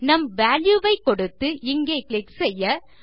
நம் வால்யூ ஐ கொடுத்து இங்கே கிளிக் செய்ய